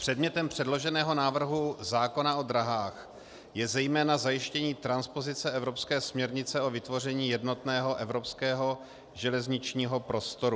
Předmětem předloženého návrhu zákona o dráhách je zejména zajištění transpozice evropské směrnice o vytvoření jednotného evropského železničního prostoru.